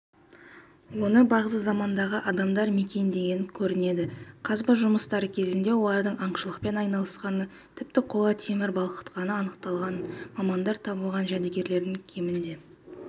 оны бағзы замандағы адамдар мекендеген көрінеді қазба жұмыстары кезінде олардың аңшылықпен айналысқаны тіпті қола темір балқытқаны анықталған мамандар табылған жәдігерлердің кемінде